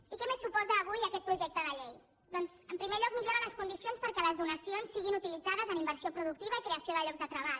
i què més suposa avui aquest projecte de llei doncs en primer lloc millora les condicions perquè les donacions siguin utilitzades en inversió productiva i creació de llocs de treball